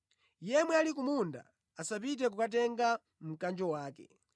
Yemwe ali ku munda asapite kukatenga mkanjo wake.